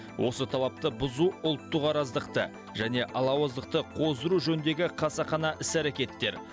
осы талапты бұзу ұлттық араздықты және алауыздықты қоздыру жөніндегі қасақана іс әрекеттер